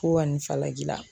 Ko ka nin falaji la.